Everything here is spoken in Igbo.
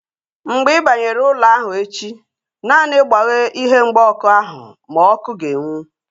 Mgbe ị banyere ụlọ ahụ echi, naanị gbaghee ihe mgba ọkụ ahu ma ọkụ ga-enwu